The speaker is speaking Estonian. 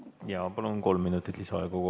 Jaa, palun, kolm minutit lisaaega!